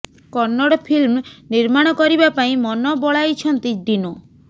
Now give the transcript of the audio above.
Kannada film ନିର୍ମାଣ କରିବା ପାଇଁ ମନ ବଳାଇଛନ୍ତି ଡିନୋ